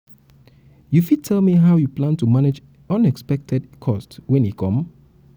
u fit tell me how you plan to manage unexpected cost wen e e come?